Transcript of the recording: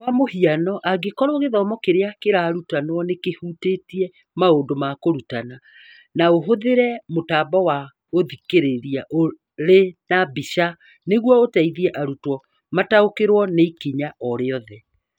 Kwa mũhiano, angĩkorũo gĩthomo kĩrĩa kĩrarutanwo nĩ kĩhutĩtie maũndũ ma kũrutana, no ũhũthĩre mũtambo wa gũthikĩrĩria ũrĩ na mbica nĩguo ũteithie arutwo mataũkĩrũo nĩ ikinya o rĩothe.